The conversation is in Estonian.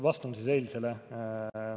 Vastan siis eilse kohta.